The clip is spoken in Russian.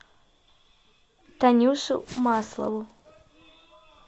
танюшу маслову